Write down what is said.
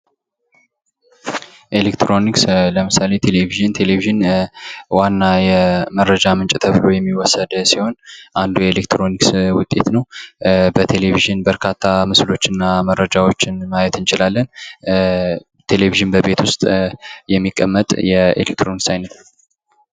ኤለክትሮኒክስ ለምሳሌ ቴሌቭዥን ዋና የመረጃ ምንጭ ሲሆን አንዱ የኤለክትሮኒክስ ውጤት ነው በቴሌቭዥን በርካታ ምስሎችን እና መረጃዎችን ማየት እንችላለን ቴሌቭዥን በቤት ውስጥ የሚቀመጥ የኤለክትሮኒክስ አይነት ነው